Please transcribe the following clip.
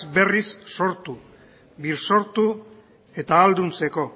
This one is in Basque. berriz sortu birsortu eta ahalduntzeko